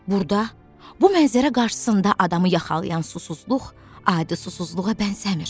Burada bu mənzərə qarşısında adamı yaxalayan susuzluq adi susuzluğa bənzəmir.